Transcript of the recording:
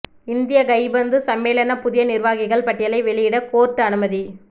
இந்திய கைப்பந்து சம்மேளன புதிய நிர்வாகிகள் பட்டியலை வெளியிட கோர்ட்டு அனுமதி